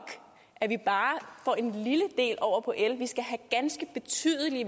at vi bare får en lille del over på el vi skal have en ganske betydelig